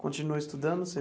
Continuou estudando?